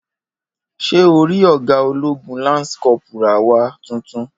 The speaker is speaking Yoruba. Ṣé orí ọgá ológun ( lánsì cọ́ọ̀púrà) wa titun